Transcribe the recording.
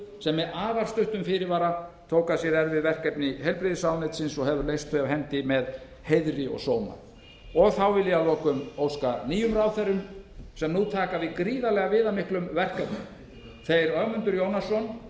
sem með afar stuttum fyrirvara tók að sér erfið verkefni heilbrigðisráðuneytisins og hefur leyst þau af hendi með heiðri og sóma þá vil ég að lokum óska velfarnaðar nýjum ráðherrum sem nú taka við gríðarlega viðamiklum verkefnum þeim ögmundi jónassyni